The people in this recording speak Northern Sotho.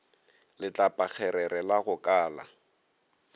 letlapakgerere la go ka la